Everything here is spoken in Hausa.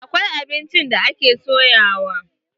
Akwai abincin da ake soyawa.